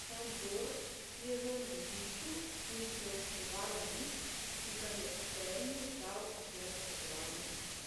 Šandorjevem ležišču in preučevala list, ki ga je Feriju dal agent potovalne družbe.